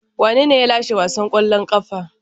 Wanene ya lashe wasan kwallon kafa?